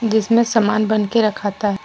जिसमें सामान बन के रखता है।